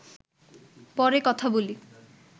পরে কথা বলি